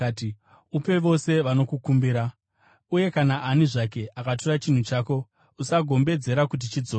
Upe vose vanokukumbira, uye kana ani zvake akatora chinhu chako, usagombedzera kuti chidzoke.